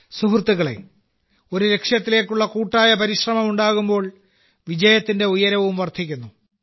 സുഹൃത്തുക്കളേ ഒരു ലക്ഷ്യത്തിലേക്കുള്ള കൂട്ടായ പരിശ്രമം ഉണ്ടാകുമ്പോൾ വിജയത്തിന്റെ ഉയരവും വർദ്ധിക്കുന്നു